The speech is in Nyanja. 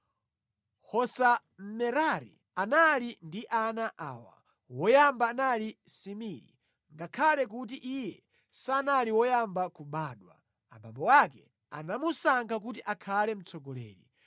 Hosa Mmerari anali ndi ana awa: woyamba anali Simiri (ngakhale kuti iye sanali woyamba kubadwa, abambo ake anamusankha kuti akhale mtsogoleri),